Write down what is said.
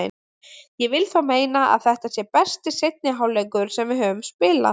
Ég vil þó meina að þetta sé besti seinni hálfleikur sem við höfum spilað.